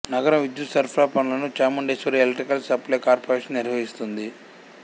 నగరం విద్యుత్ సరఫరా పనులను చాముండేశ్వరి ఎలక్ట్రిక్ సప్లై కార్పొరేషన్ నిర్వహిస్తుంది